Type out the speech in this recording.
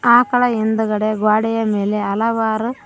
ಆಕಳ ಹಿಂದ್ಗಡೆ ಗ್ವಾಡೇಯ ಮೇಲೆ ಹಲವಾರು--